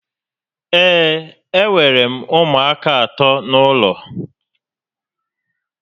Ee, e nwèrè m ụmụaka àtọ́ n'ụlọ